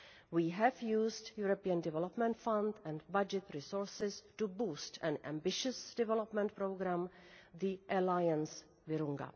We have used European Development Fund and budget resources to boost an ambitious development programme, the Alliance Virunga'.